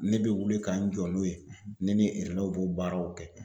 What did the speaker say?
Ne be wuli ka n jɔ n'o ye ne ni relɛw b'o baaraw kɛ